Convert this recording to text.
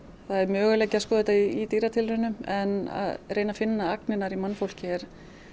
það er möguleiki að skoða þetta í dýratilraunum en að reyna að finna agnirnar í mannfólki er